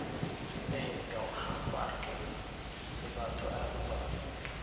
Indaheyga waxan kuarke dibatadho aad uubadan.